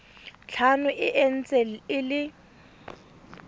tlhano e ntse e le